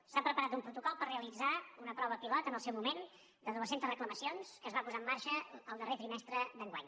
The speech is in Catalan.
s’ha preparat un protocol per realitzar una prova pilot en el seu moment de dues centes reclamacions que es va posar en marxa el darrer trimestre d’enguany